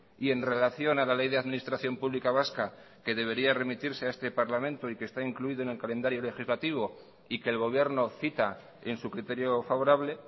y en relación a la ley de administración pública vasca que debería remitirse a este parlamento y que está incluido en el calendario legislativo y que el gobierno cita en su criterio favorable